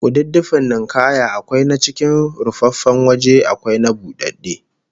Kududdufin ninkaya akwai na cikin rufaffen waje akwai na budadde